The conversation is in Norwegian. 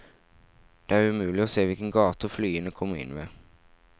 Det er umulig å se hvilke gater flyene kommer inn ved.